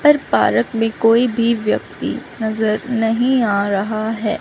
पर पार्क में कोई भी व्यक्ति नजर नहीं आ रहा है।